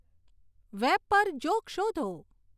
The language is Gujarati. વેબ પર જોક શોધો